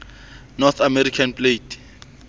north american plate